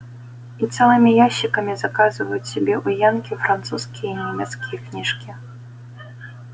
и целыми ящиками заказывают себе у янки французские и немецкие книжки